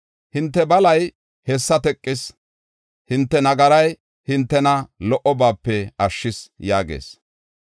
Hinte balay hessa teqis; hinte nagaray hintena lo77obaape ashshis” yaagees.